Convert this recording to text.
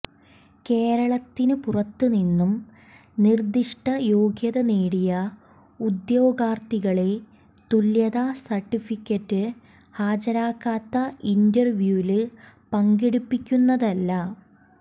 കേരളത്തിന് പുറത്ത് നിന്നും നിര്ദ്ദിഷ്ടയോഗ്യത നേടിയ ഉദ്യോഗാര്ത്ഥികളെ തുല്യതാ സര്ട്ടിഫിക്കറ്റ് ഹാജരാക്കാതെ ഇന്റ്റര്വ്യൂവില് പങ്കെടുപ്പിക്കുന്നതല്ല